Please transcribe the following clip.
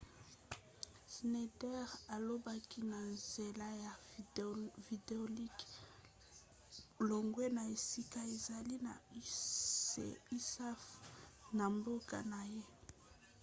schneider alobaki na nzela ya videolink longwa na esika azali na usaf na mboka na ye